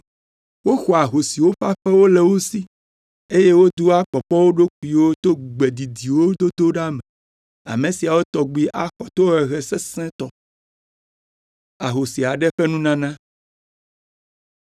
Woxɔa ahosiwo ƒe aƒewo le wo si, eye wodoa kpɔkpɔ wo ɖokuiwo to gbe didiwo dodo ɖa me. Ame siawo tɔgbi axɔ tohehe sesẽtɔ.”